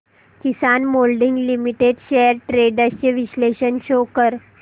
किसान moulding limited shares trends चे विश्लेषण show कर